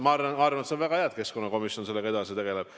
Ma arvan, et see on väga hea, et ka keskkonnakomisjon sellega edasi tegeleb.